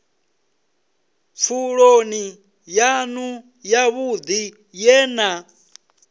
pfuloni yanu yavhudi ye na